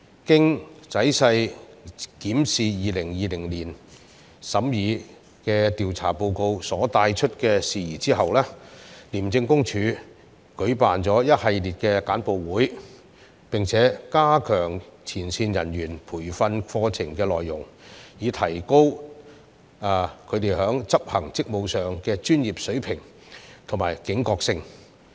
經仔細檢視2020年審議的調查報告所帶出的事宜，廉政公署舉辦了一系列簡報會，並加強前線人員培訓課程的內容，以提高他們執行職務時的專業水平和警覺性。